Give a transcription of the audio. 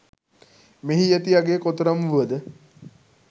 මෙහි ඇති අගය කොතරම් වුවද